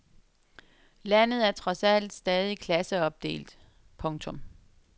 Landet er trods alt stadig klasseopdelt. punktum